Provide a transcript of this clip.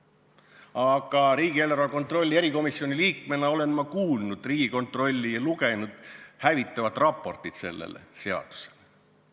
Aga riigieelarve kontrolli erikomisjoni liikmena olen ma kuulnud Riigikontrolli hinnangut ja lugenud hävitavat raportit selle seaduse kohta.